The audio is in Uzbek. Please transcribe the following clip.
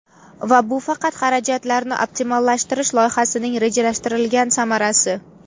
Va bu faqat xarajatlarni optimallashtirish loyihasining rejalashtirilgan samarasi.